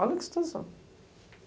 Olha que situação.